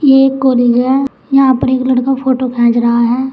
एक कॉलेज है यहां पर एक लड़का फोटो खींच रहा है।